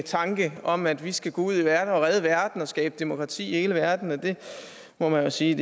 tanke om at vi skal gå ud i verden og redde verden og skabe demokrati i hele verden det må man jo sige